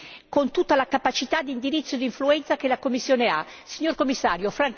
Signor Commissario, francamente, quello che Lei ci ha detto è troppo poco e troppo debole!